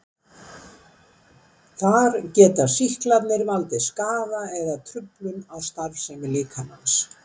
Þar geta sýklarnir valdið skaða eða truflun á starfsemi líkamans.